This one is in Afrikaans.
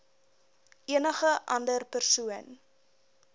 enige ander persoon